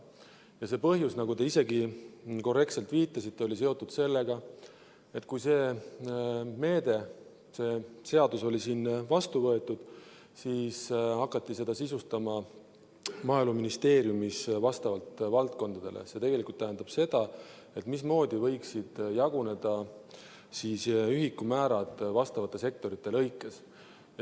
Ja põhjus, nagu te isegi korrektselt viitasite, oli seotud sellega, et kui see meede, see seadus oli siin vastu võetud, siis hakati seda Maaeluministeeriumis sisustama vastavalt valdkondadele – see tähendab seda, et mismoodi võiksid jaguneda ühikumäärad vastavate sektorite kaupa.